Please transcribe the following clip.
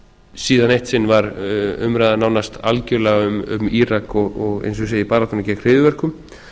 síðan eitt sinn var umræðan nánast algjörlega um írak og eins og ég segi baráttuna gegn hryðjuverkum